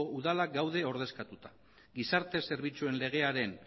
udalak daude ordezkatuta gizarte zerbitzuek legearen